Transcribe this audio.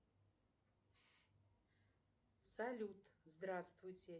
афина сделай поменьше яркость на лоджии